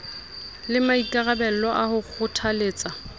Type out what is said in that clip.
le maikarabelo a ho kgothaletsa